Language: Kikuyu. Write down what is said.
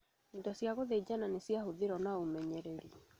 Indo cia gũthĩnjana nĩciahũthĩrirwo na ũmenyereri